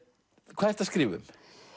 hvað ertu að skrifa um